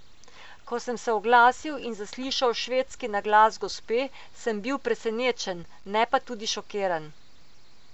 Ko sem se oglasil in zaslišal švedski naglas gospe, sem bil presenečen, ne pa tudi šokiran.